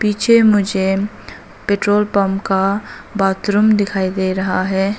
पीछे मुझे petrol pump का बाथरूम दिखाई दे रहा है।